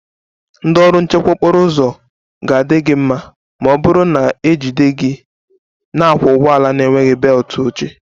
Ndị ọrụ nchekwa okporo ụzọ ga-adị gị mma, ma ọ bụrụ na ejide gị na-akwọ ụgbọala na-enweghị belt oche